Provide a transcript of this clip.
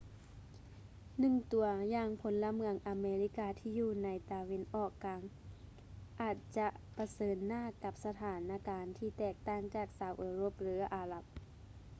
ໜຶ່ງຕົວຢ່າງພົນລະເມືອງອາເມລິກາທີ່ຢູ່ໃນຕາເວັນອອກກາງອາດຈະປະເຊີນໜ້າກັບສະຖານະການທີ່ແຕກຕ່າງຈາກຊາວເອີຣົບ ຫຼື ອາຣັບ